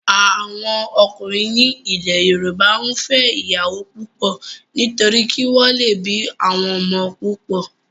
Àwọn ọkùnrin ní ilẹ̀ yóòbá n fẹ́ ìyàwó púpọ̀ nítorí kí wọ́n lè bí àwọn ọmọ púpọ̀